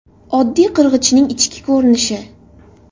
Oddiy qirg‘ichning ichki ko‘rinishi.